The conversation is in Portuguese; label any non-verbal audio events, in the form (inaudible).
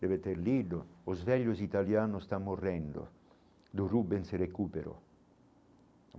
deve ter lido, os velhos italianos estão morrendo, do. (unintelligible)